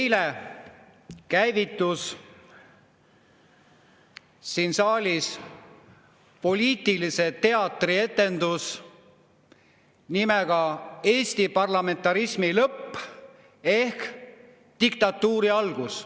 Eile käivitus siin saalis poliitiline teatrietendus nimega "Eesti parlamentarismi lõpp ehk Diktatuuri algus".